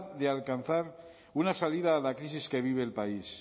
de alcanzar una salida a la crisis que vive el país